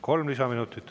Kolm lisaminutit.